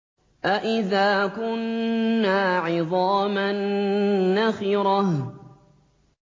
أَإِذَا كُنَّا عِظَامًا نَّخِرَةً